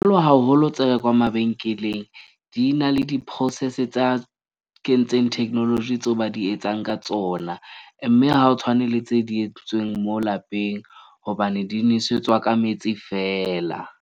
Haholo tse rekwang mabenkeleng di na le di-process tsa kentseng technology tseo ba di etsang ka tsona. Mme ha o tshwane le tse di etseditsweng mo lapeng hobane di nwesetswa ka metsi fela.